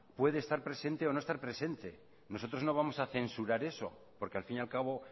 puede estar presente o no estar presente nosotros no vamos a censurar eso porque al fin y al cabo